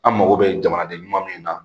An mago bɛ jamana de ɲuman min na